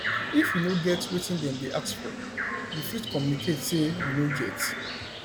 if you no get wetin dem dey ask you fit communicate sey you no get